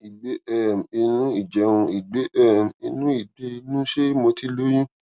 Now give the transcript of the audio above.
ìgbé um inú ìjẹun ìgbé um inú ìgbé inú ṣé mo ti lóyún